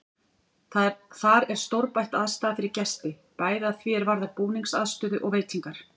Þar er stórbætt aðstaða fyrir gesti, bæði að því er varðar búningsaðstöðu og veitingar.